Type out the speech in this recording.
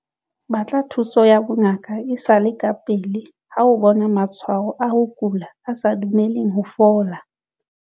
Batla thuso ya bongaka e sa le kapele ha o bona matshwao a ho kula a sa dumeleng ho fola.